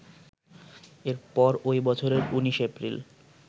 এরপর ওই বছরের ১৯ এপ্রিল